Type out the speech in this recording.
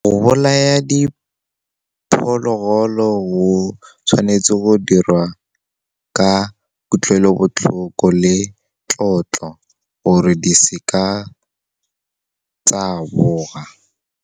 Go bolaya diphologolo go tshwanetse go dirwa ka kutlwelobotlhoko le tlotlo, gore di se ka tsa boga.